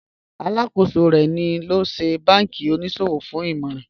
Alákọsọ̀ rè ní lọ sí bánkí oníṣọwọ̀ fún ìmọ̀ràn